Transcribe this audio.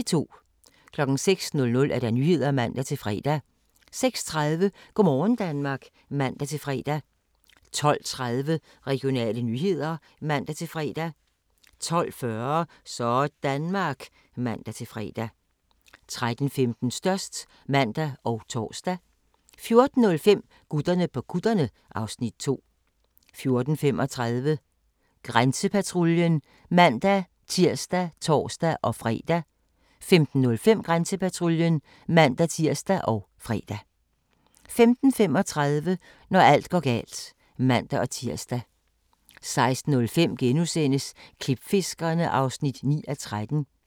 06:00: Nyhederne (man-fre) 06:30: Go' morgen Danmark (man-fre) 12:30: Regionale nyheder (man-fre) 12:40: Sådanmark (man-fre) 13:15: Størst (man og tor) 14:05: Gutterne på kutterne (Afs. 2) 14:35: Grænsepatruljen (man-tir og tor-fre) 15:05: Grænsepatruljen (man-tir og fre) 15:35: Når alt går galt (man-tir) 16:05: Klipfiskerne (9:13)*